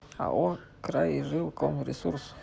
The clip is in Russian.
ао крайжилкомресурс